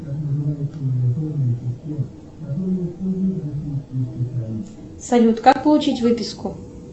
салют как получить выписку